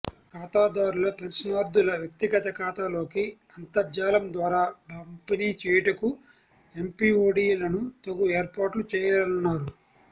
ఖాతాదారుల పెన్షన్దారుల వ్యక్తిగత ఖాతాలోకి అంతర్జాలం ద్వారా పంపిణీ చేయుటకు ఎంపిఓడిలను తగు ఏర్పా ట్లు చేయాలన్నారు